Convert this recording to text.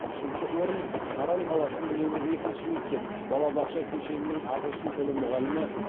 үшінші орын саран қаласының нөмір екінші мектеп балабақша кешенінің ағылшын тілі мұғалімі